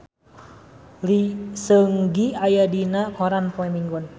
Lee Seung Gi aya dina koran poe Minggon